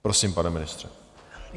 Prosím, pane ministře.